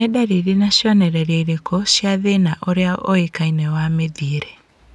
Nĩ ndariri na cionereria irĩkũ cia thĩna ũrĩa ũĩkaine wa mĩthiĩre?